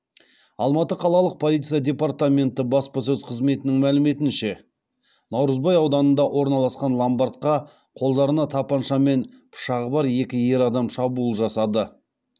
алматы қалалық полиция департаменті баспасөз қызметінің мәліметінше наурызбай ауданында орналасқан ломардқа қолдарында тапанша мен пышағы бар екі ер адам шабуыл жасады